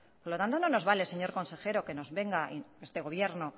por lo tanto no nos vale señor consejero que nos venga este gobierno